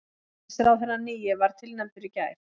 Forsætisráðherrann nýi var tilnefndur í gær